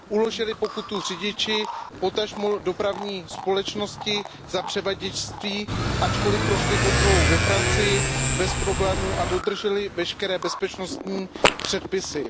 Uložily pokutu řidiči, potažmo dopravní společnosti za převaděčství, ačkoliv prošli kontrolou ve Francii bez problémů a dodrželi veškeré bezpečnostní předpisy.